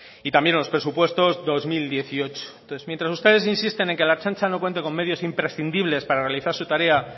y también los presupuestos dos mil dieciocho entonces mientras ustedes insisten en que la ertzaintza no cuente con medios imprescindibles para realizar su tarea